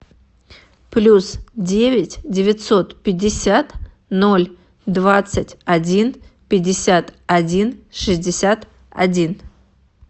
плюс девять девятьсот пятьдесят ноль двадцать один пятьдесят один шестьдесят один